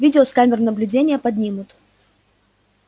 видео с камер наблюдения поднимут